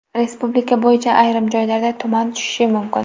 Respublika bo‘yicha ayrim joylarda tuman tushishi mumkin.